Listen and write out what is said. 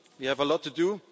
presence. We have a